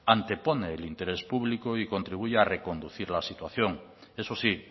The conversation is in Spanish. ante pone el interés público y contribuye a reconducir la situación eso sí